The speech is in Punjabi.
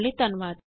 ਸ਼ਾਮਲ ਹੋਣ ਲਈ ਧੰਨਵਾਦ